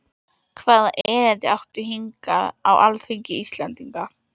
Hvaða erindi áttu hingað á alþingi Íslendinga?